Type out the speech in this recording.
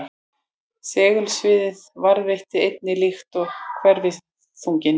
Segulsviðið varðveitist einnig líkt og hverfiþunginn.